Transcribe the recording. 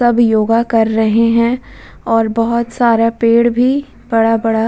सब योगा कर रहे हैं और बहुत सारा पेड़ भी बड़ा-बड़ा --